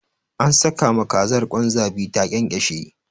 An saka ma kazar kwan zabi ta ƙyanƙyashe.